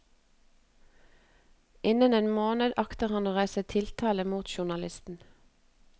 Innen en måned akter han å reise tiltale mot journalisten.